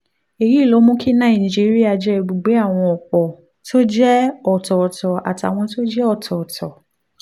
èyí ló mú kí nàìjíríà jẹ́ ibùgbé àwọn ọ̀pọ̀ tó jẹ́ ọ̀tọ̀ọ̀tọ̀ àtàwọn tó jẹ́ ọ̀tọ̀ọ̀tọ̀